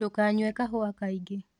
Ndũkanyũe kahũa kaĩngĩ